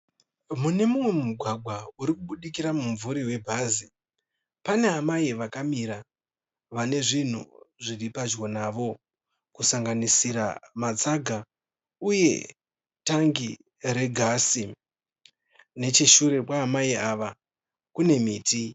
Mune umwe mugwagwa uri kubudikira mumvuri we bhazi pane amai vakamira vane zvinhu zviri padyo navo kusanganisira matsaga uye tangi regasi. Necheshure kwaamai ava kune miti.